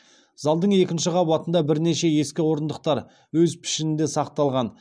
залдың екінші қабатында бірнеше ескі орындықтар өз пішінінде сақталған